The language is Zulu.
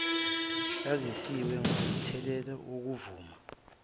yazisiwe ngomthelela wokuvuma